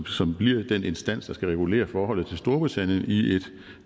som bliver den instans der skal regulere forholdet til storbritannien i et